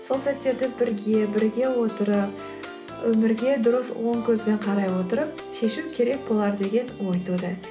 сол сәттерді бірге бірге отырып өмірге дұрыс оң көзбен қарай отырып шешу керек болар деген ой туды